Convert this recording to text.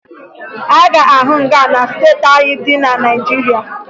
Ị ga-ahụ nga na steeti niile dị na Naịjirịa